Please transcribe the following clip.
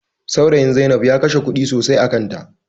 Saurayin Zai inab ya kashe kuɗi sosai a kan ta